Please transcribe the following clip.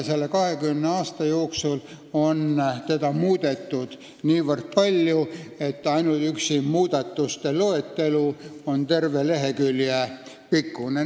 Selle 20 aasta jooksul on seda muudetud niivõrd palju, et ainuüksi muudatuste loetelu on terve lehekülje pikkune.